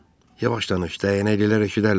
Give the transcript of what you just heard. Yavaş danış, dəyənəklilər eşidərlər.